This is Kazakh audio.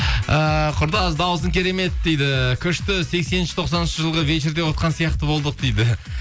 ііі құрдас дауысың керемет дейді күшті сексенінші тоқсаныншы жылғы вечерде отқан сияқты болдық дейді